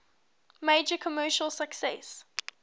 major commercial success